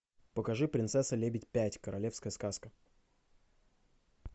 покажи принцесса лебедь пять королевская сказка